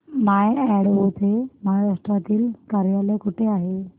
माय Advo चे महाराष्ट्रातील कार्यालय कुठे आहे